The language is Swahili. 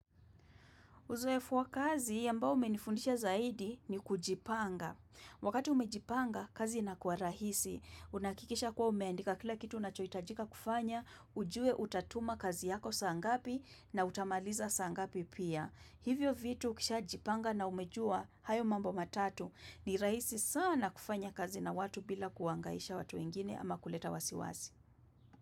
Uzoefu wa kazi ambao umenifundisha zaidi ni kujipanga. Wakati umejipanga, kazi inakuwa rahisi. Unahakikisha kuwa umeandika kila kitu unachohitajika kufanya, ujue utatuma kazi yako saa ngapi na utamaliza saa ngapi pia. Hivyo vitu ukishajipanga na umejua, hayo mambo matatu ni rahisi sana kufanya kazi na watu bila kuangaisha watu wengine ama kuleta wasiwasi.